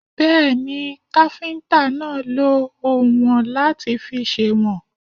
Bẹ́ẹ̀ni, káfíntà náà lọ oùnwọ̀n láti fi sèwọ̀n.